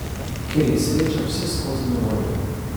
Ker je sreča vseskozi na voljo.